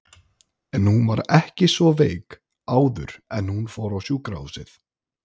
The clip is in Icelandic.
En hún var ekki svo veik áður en hún fór á sjúkrahúsið.